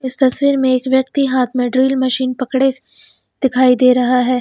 इस तस्वीर में एक व्यक्ति हाथ में ड्रिल मशीन पकड़े दिखाई दे रहा है।